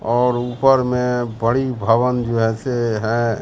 और ऊपर में बड़ी भवन जो जैसे हैं।